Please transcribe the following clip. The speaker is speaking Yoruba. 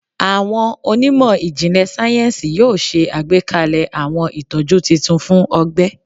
Awọn onimo ijinlẹ sayensi yoo ṣe agbekalẹ awọn itọju titun fun ọgbẹ